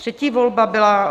Třetí volba byla